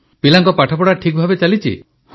ପିଲାଙ୍କ ପାଠପଢ଼ା ଠିକଭାବେ ଚାଲିଛି